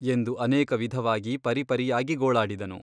ಎಂದು ಅನೇಕ ವಿಧವಾಗಿ ಪರಿಪರಿಯಾಗಿ ಗೋಳಾಡಿದನು.